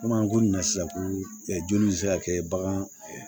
Komi an ko nin na sisan ko joli bɛ se ka kɛ bagan